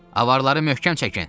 Avarları möhkəm çəkin!